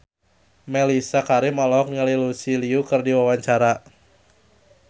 Mellisa Karim olohok ningali Lucy Liu keur diwawancara